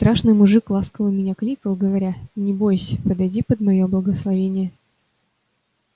страшный мужик ласково меня кликал говоря не бойсь подойди под моё благословение